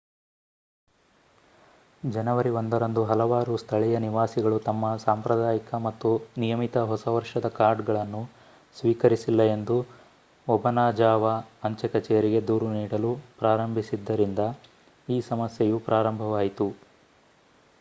ಜನವರಿ 1 ರಂದು ಹಲವಾರು ಸ್ಥಳೀಯ ನಿವಾಸಿಗಳು ತಮ್ಮ ಸಾಂಪ್ರದಾಯಿಕ ಮತ್ತು ನಿಯಮಿತ ಹೊಸ ವರ್ಷದ ಕಾರ್ಡ್‌ಗಳನ್ನು ಸ್ವೀಕರಿಸಿಲ್ಲ ಎಂದು ಒಬನಾಜಾವಾ ಅಂಚೆ ಕಚೇರಿಗೆ ದೂರು ನೀಡಲು ಪ್ರಾರಂಭಿಸಿದ್ದರಿಂದ ಈ ಸಮಸ್ಯೆಯು ಪ್ರಾರಂಭವಾಯಿತು